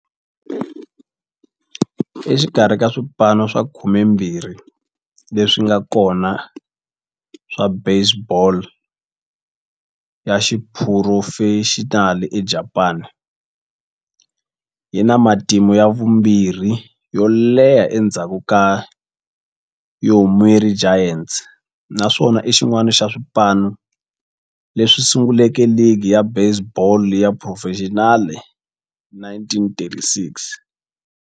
Exikarhi ka swipano swa 12 leswi nga kona swa baseball ya xiphurofexinali eJapani, yi na matimu ya vumbirhi yo leha endzhaku ka Yomiuri Giants, naswona i xin'wana xa swipano leswi sunguleke ligi ya baseball ya xiphurofexinali hi 1936.